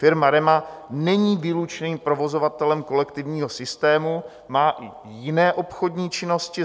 Firma REMA není výlučným provozovatelem kolektivního systému, má i jiné obchodní činnosti.